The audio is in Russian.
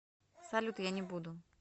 салют я не буду